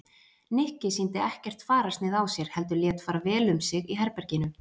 Nikki sýndi ekkert fararsnið á sér heldur lét fara vel um sig í herberginu.